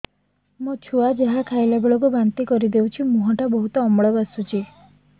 ମୋ ଛୁଆ ଯାହା ଖାଇଲା ବେଳକୁ ବାନ୍ତି କରିଦଉଛି ମୁହଁ ଟା ବହୁତ ଅମ୍ଳ ବାସୁଛି